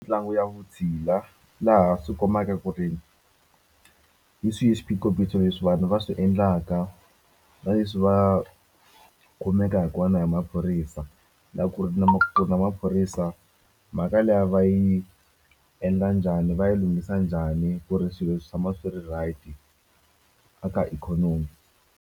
Ntlangu ya vutshila laha swi kombaka ku ri hi swihi swiphiqophiqho leswi vanhu va swi endlaka na leswi va kumekaku hi maphorisa loko ku ri na na maphorisa mhaka liya va yi endla njhani va yi lunghisa njhani ku ri swilo swi tshama swi ri right a ka ikhonomi.